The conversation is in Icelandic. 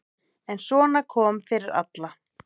En svona kom fyrir alla.